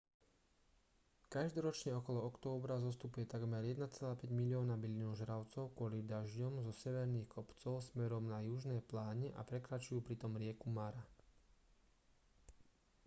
každoročne okolo októbra zostupuje takmer 1,5 milióna bylinožravcov kvôli dažďom zo severných kopcov smerom na južné pláne a prekračujú pritom rieku mara